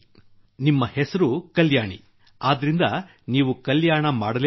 ನಿಮ್ಮ ಹೆಸರು ಕಲ್ಯಾಣಿ ಆದ್ದರಿಂದ ನೀವು ಕಲ್ಯಾಣ ಮಾಡಲೇಬೇಕು